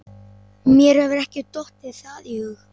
Mér hefur ekki dottið það í hug.